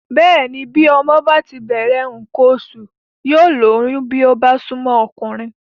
Bẹ́ẹ̀ni bí ọmọ bá ti bẹ̀rẹ̀ nǹkan oṣù yóò lóyún bí ó bá súnmọ́ ọkùnrin